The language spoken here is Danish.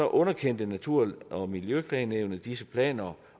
underkendte natur og miljøklagenævnet disse planer